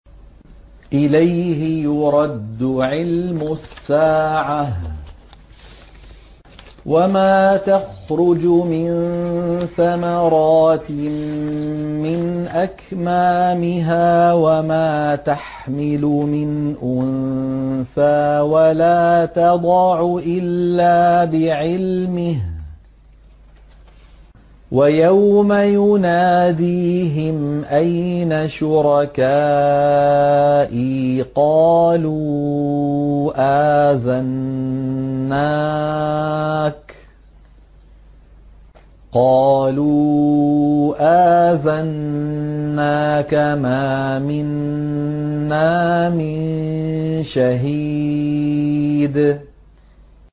۞ إِلَيْهِ يُرَدُّ عِلْمُ السَّاعَةِ ۚ وَمَا تَخْرُجُ مِن ثَمَرَاتٍ مِّنْ أَكْمَامِهَا وَمَا تَحْمِلُ مِنْ أُنثَىٰ وَلَا تَضَعُ إِلَّا بِعِلْمِهِ ۚ وَيَوْمَ يُنَادِيهِمْ أَيْنَ شُرَكَائِي قَالُوا آذَنَّاكَ مَا مِنَّا مِن شَهِيدٍ